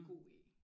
God i